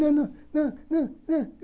Não, não, não, não, não.